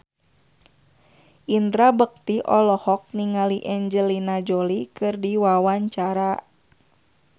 Indra Bekti olohok ningali Angelina Jolie keur diwawancara